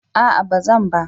A'a bazan ba.